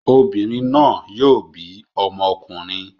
Obìnrin náà yóò bí ọmọkùnrin.